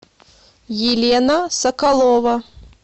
елена соколова